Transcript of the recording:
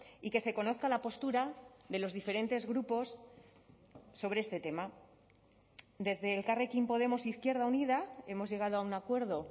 y que se conozca la postura de los diferentes grupos sobre este tema desde elkarrekin podemos izquierda unida hemos llegado a un acuerdo